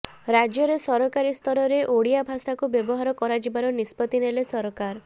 ରାଜ୍ୟରେ ସରକାରୀ ସ୍ତରରେ ଓଡ଼ିଆ ଭାଷାକୁ ବ୍ୟବହାର କରାଯିବାର ନିଷ୍ପତ୍ତି ନେଲେ ସରକାର